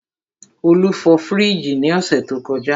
Olú fọ fríìgì ní ọ̀sẹ̀ tó kọjá.